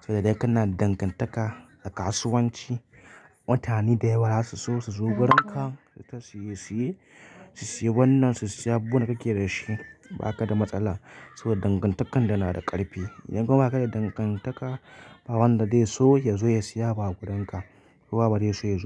Saboda idan kana da dangantaka a kasuwanci, mutane da yawa za su so su zo wurinka su sayi wannan, su siya abubuwan da kake da shi ba ka da matsala. Saboda dangantakan dana da ƙarfi. Idan kuma aka yi dangantaka, bawanda zai so ya zo ya siya abu a gurin ka.